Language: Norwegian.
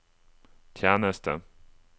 tjeneste